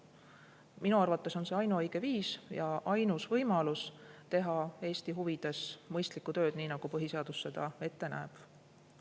Minu arvates on see ainuõige viis ja ainus võimalus teha Eesti huvides mõistlikku tööd, nii nagu põhiseadus seda ette näeb.